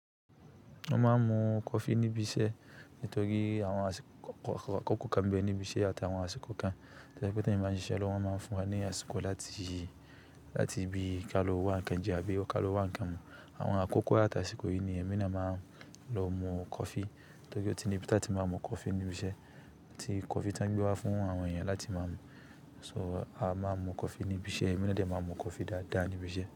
Wọ́n máa ń mu coffee níbi iṣẹ́ nítorí àwọn àkókò kan ń bẹ níbi iṣẹ́ àtàwọn àsìkò kan. To je pẹ̀ tí eyan bá ń ṣiṣẹ́ lọ́wọ́, wọ́n máa ń fún wa ní àsìkò láti, láti bí ka lọ wá ń kan jẹ àbí ka lọ wá ń kan mu. Àwọn àkókò àtàsìkò yìí ni ẹmí ni a máa ń lọ mu coffee. Nítorí ọtí ni bí a ti máa ń mu coffee níbi iṣẹ́. Ẹ̀tì coffee tán gbé wá fún àwọn èèyàn láti máa mu. So a máa ń mu coffee níbi iṣẹ́, ẹmí na dẹ̀ máa ń mu coffee dáadáa níbi iṣẹ́.